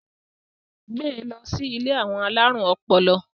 gbé ló sì ilé àwọn alarun ọpọlọ!